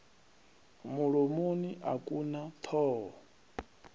mulomoni a ku na thoho